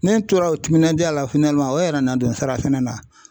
Ne tora o timinadiya la o yɛrɛ nana don nsara sɛnɛ na.